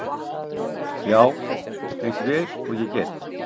Já, eins vel og ég get.